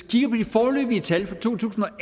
de foreløbige tal for to tusind og